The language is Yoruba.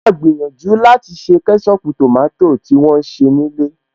Mo máa gbìyànjú láti ṣe kẹ́ṣọpù tòmátò ti wón se ní ilé